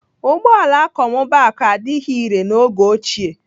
Ụgbọala akọmmụbaaku adịghị irè n'oge ochie.